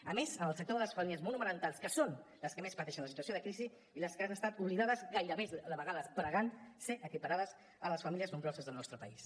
a més en el sector de les famílies monomarentals que són les que més pateixen la situació de crisi i les que han estat oblidades gairebé de vegades pregant ser equiparades a les famílies nombroses del nostre país